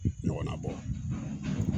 Ɲɔgɔnna bɔ